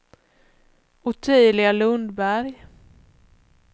Ottilia Lundberg